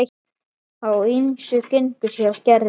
Á ýmsu gengur hjá Gerði.